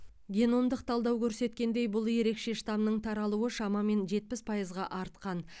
геномдық талдау көрсеткендей бұл ерекше штамның таралуы шамамен жетпіс пайызға артқан